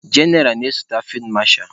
Jenaral na-esote fid masha.